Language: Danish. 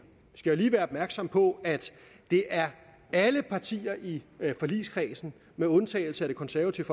vi skal jo lige være opmærksomme på at det er alle partier i forligskredsen med undtagelse af det konservative